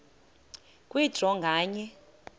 kwe draw nganye